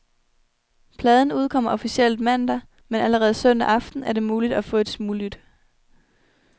Pladen udkommer officielt mandag, men allerede søndag aften er det muligt at få et smuglyt.